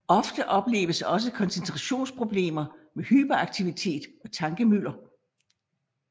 Ofte opleves også koncentrationsproblemer med hyperaktivitet og tankemylder